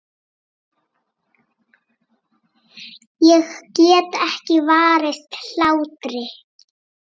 Ég get ekki varist hlátri.